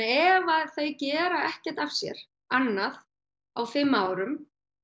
ef þau gera ekkert af sér annað á fimm árum